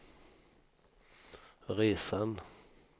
resan